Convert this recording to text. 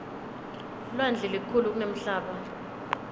lwandle lukhulu kunemhlaba